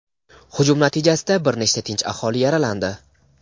hujum natijasida bir nechta tinch aholi yaralandi.